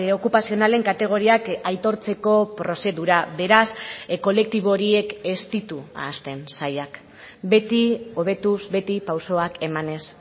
okupazionalen kategoriak aitortzeko prozedura beraz kolektibo horiek ez ditu ahazten sailak beti hobetuz beti pausoak emanez